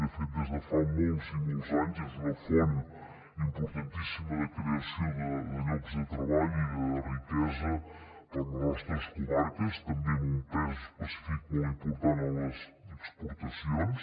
de fet des de fa molts i molts anys és una font importantíssima de creació de llocs de treball i de riquesa per a les nostres comarques també amb un pes específic molt important en les exportacions